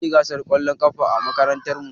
Zamuyi gasar ƙwallon ƙafa a makarantar mu